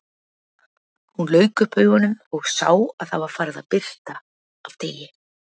Hún lauk upp augunum og sá að það var farið að birta af degi.